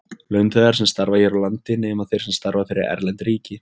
Launþegar sem starfa hér á landi, nema þeir sem starfa fyrir erlend ríki.